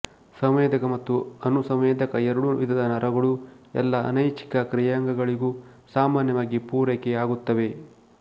ಸಂವೇದಕ ಮತ್ತು ಅನುಸಂವೇದಕ ಎರಡು ವಿಧದ ನರಗಳೂ ಎಲ್ಲ ಅನೈಚ್ಛಿಕ ಕ್ರಿಯಾಂಗಗಳಿಗೂ ಸಾಮಾನ್ಯವಾಗಿ ಪೂರೈಕೆ ಆಗುತ್ತವೆ